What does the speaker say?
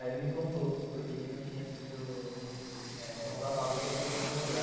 Aí ele me contou porque que não tinha sido...eh... contratada outra pessoa no lugar.